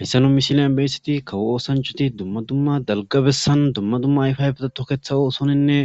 Hayssanu misiliyan beyssiti kawo oosanchati dumma dumma dalgabessan dumma dumma ayfayfetatoketha oosoninne